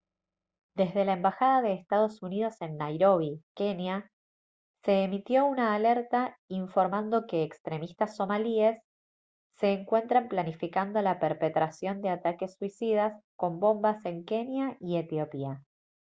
desde la embajada de estados unidos en nairobi kenia se emitió una alerta informando que «extremistas somalíes» se encuentran planificando la perpetración de ataques suicidas con bombas en kenia y etiopía